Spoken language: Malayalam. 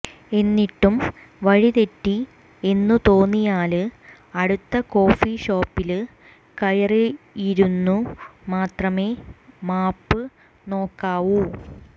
എന്നിട്ടും വഴി തെറ്റി എന്നു തോന്നിയാല് അടുത്ത കോഫീഷോപ്പില് കയറിയിരുന്നു മാത്രമേ മാപ്പ് നോക്കാവൂ